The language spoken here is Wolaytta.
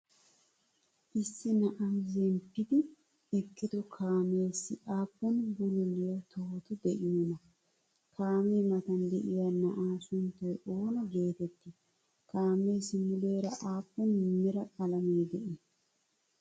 Issi naa7ay zemppidi eqqido kaameessi appun bululiyaa tohoti de7iyonaa? Kaamee matan de7iya naa7a sunttay oona geteetti? Kaameessi muleraa appun mera qaalame de7i?